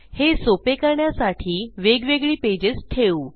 हे सोपे करण्यासाठी वेगवेगळी पेजेस ठेवू